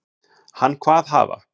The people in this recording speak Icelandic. Hann kvað hafa